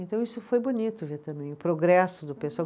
Então isso foi bonito ver também o progresso do